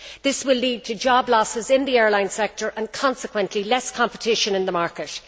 This will lead to job losses in the airline sector and consequently, less competition in the market.